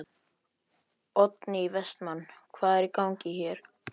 Oddný Vestmann: Hvað er í gangi?